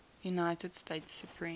united states supreme